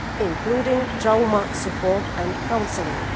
including trauma support and counselling.